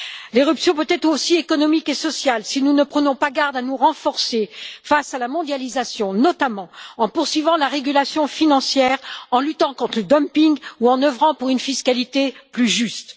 L'éruption peut être aussi économique et sociale, si nous ne prenons pas garde à nous renforcer face à la mondialisation, notamment en poursuivant la régulation financière, en luttant contre le dumping ou en œuvrant pour une fiscalité plus juste.